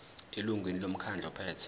elungwini lomkhandlu ophethe